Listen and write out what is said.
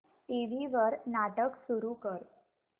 TV वर नाटक सुरू कर